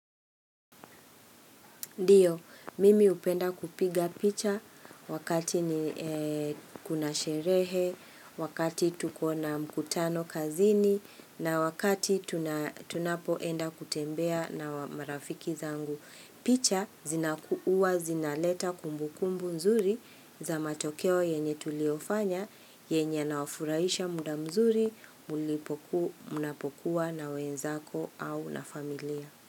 Ndio, mimi hupenda kupiga picha wakati ni kuna sherehe, wakati tuko na mkutano kazini na wakati tunapoenda kutembea na marafiki zangu. Picha zinakuwa, zina leta kumbu kumbu nzuri za matokeo yenye tuliofanya, yenye yawafurahisha muda mzuri, mlipokua, mnapokuwa na wenzako au na familia.